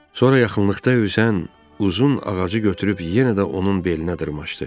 Sonra yaxınlıqda üzən uzun ağacı götürüb yenə də onun belinə dırmaşdı.